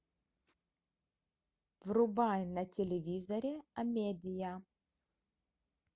врубай на телевизоре амедия